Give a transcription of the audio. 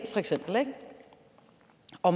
og